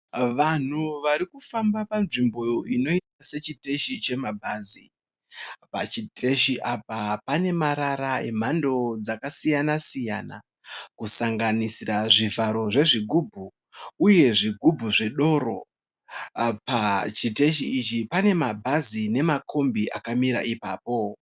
Vanhu varikufamba panzvimbo inoita sechiteshi chema bhazi. Pachiteshi apa pane marara emhando dzakasiyana siyana kusanganisira zvivharo zvezvigubhu uye zvigubhu zvedoro. Pachiteshi ichi pane mabhazi nemakombi akamira ipapo.